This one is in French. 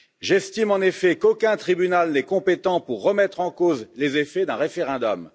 J'estime, en effet, qu'aucun tribunal n'est compétent pour remettre en cause les effets d'un référendum.